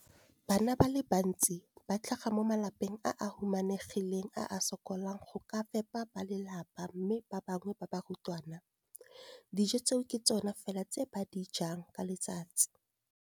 Bana ba le bantsi ba tlhaga mo malapeng a a humanegileng a a sokolang go ka fepa ba lelapa mme ba bangwe ba barutwana, dijo tseo ke tsona fela tse ba di jang ka letsatsi.